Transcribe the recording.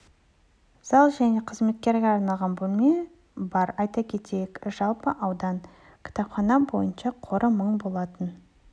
зал және қызметкерге арналған бөлме бар айта кетейік жалпы аудан бойынша кітап қоры мың болатын